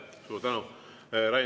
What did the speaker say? Suur tänu!